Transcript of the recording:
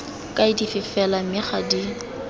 kaedi fela mme ga di